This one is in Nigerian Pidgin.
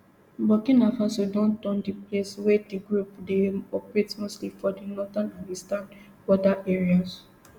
burkina faso don turn di main place wia di group dey operate mostly for di northern and eastern border areas